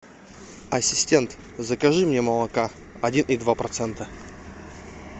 ассистент закажи мне молока один и два процента